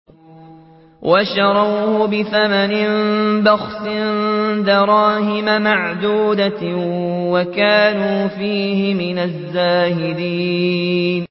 وَشَرَوْهُ بِثَمَنٍ بَخْسٍ دَرَاهِمَ مَعْدُودَةٍ وَكَانُوا فِيهِ مِنَ الزَّاهِدِينَ